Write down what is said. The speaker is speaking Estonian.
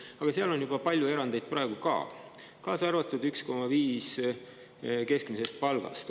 Aga seal on praegu ka palju erandeid ja, kaasa arvatud 1,5 keskmist palka.